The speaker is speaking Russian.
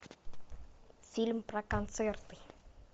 фильм про концерты